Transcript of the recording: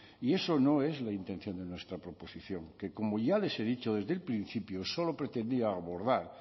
y eso no es la intención de nuestra proposición que como ya les he dicho desde el principio solo pretendía abordar